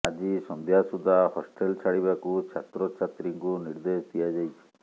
ଆଜି ସଂଧ୍ୟା ସୁଦ୍ଧା ହଷ୍ଟେଲ ଛାଡିବାକୁ ଛାତ୍ରଛାତ୍ରୀଙ୍କୁ ନିର୍ଦ୍ଦେଶ ଦିଆଯାଇଛି